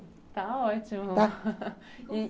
Está ótimo.